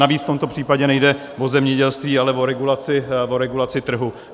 Navíc v tomto případě nejde o zemědělství, ale o regulaci trhu.